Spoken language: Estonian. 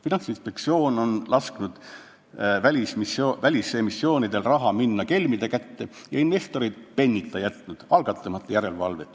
Finantsinspektsioon on lasknud välisemissioonidel raha minna kelmide kätte ja investorid pennita jätnud, algatamata järelevalvet.